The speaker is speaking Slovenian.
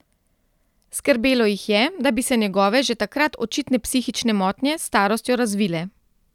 Skrbelo jih je, da bi se njegove že takrat očitne psihične motnje s starostjo razvile.